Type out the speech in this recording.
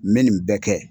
N bɛ nin bɛɛ kɛ